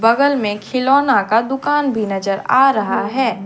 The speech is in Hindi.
बगल में खिलौना का दुकान भी नजर आ रहा है।